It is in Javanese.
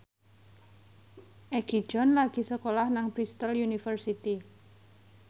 Egi John lagi sekolah nang Bristol university